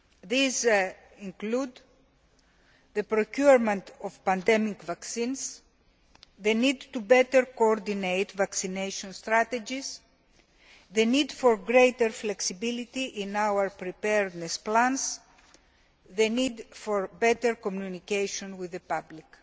These include the procurement of pandemic vaccines, the need to better coordinate vaccination strategies, the need for greater flexibility in our preparedness plans and the need for better communication with the public.